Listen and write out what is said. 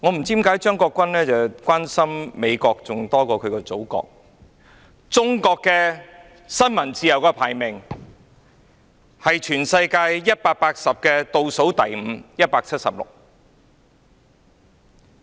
在全球180個國家中，中國的新聞自由排名倒數第五，即第一百七十六位。